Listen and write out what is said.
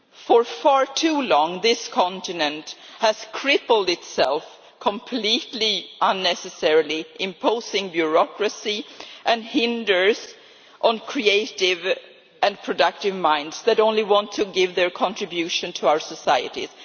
For far too long, this continent has crippled itself completely unnecessarily, imposing bureaucracy and hindering creative and productive minds that only want to make their contribution to our societies.